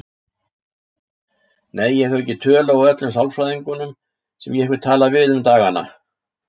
Nei, ég hef ekki tölu á öllum sálfræðingunum sem ég hef talað við um dagana.